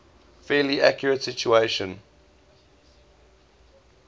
fairly accurate simulation